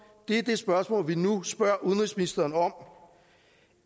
er det spørgsmål som vi nu spørger udenrigsministeren om